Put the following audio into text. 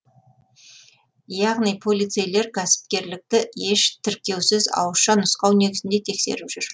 яғни полицейлер кәсіпкерлікті еш тіркеусіз ауызша нұсқау негізінде тексеріп жүр